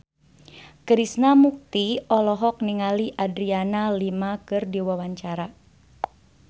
Krishna Mukti olohok ningali Adriana Lima keur diwawancara